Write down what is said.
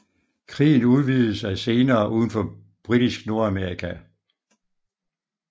Krigen udvidede sig senere udenfor britisk Nordamerika